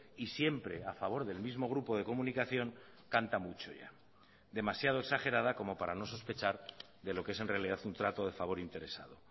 y siempre a favor del mismo grupo de comunicación canta mucho ya demasiado exagerada como para no sospechar de lo que es en realidad un trato de favor interesado